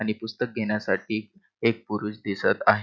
आणि पुस्तक घेण्यासाठी एक पुरुष दिसत आहे.